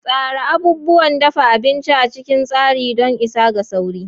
Tsara abubuwan dafa abinci a cikin tsari don isa ga sauri.